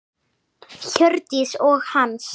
Hjördís og Hans.